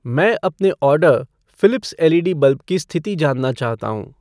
मैं अपने order Philips L E D bulb की स्थिति जानना चाहता हूँ।